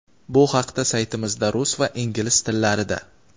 Bu haqda saytimizda rus va ingliz tillarida:.